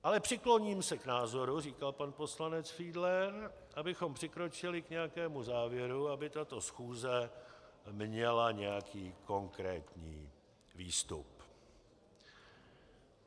Ale přikloním se k názoru, říkal pan poslanec Fiedler, abychom přikročili k nějakému závěru, aby tato schůze měla nějaký konkrétní výstup.